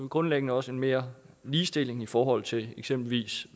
grundlæggende også mere ligestilling i forhold til eksempelvis